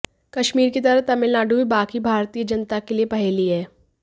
कश्मीर की तरह तमिलनाडु भी बाकी भारतीय जनता के लिए पहेली है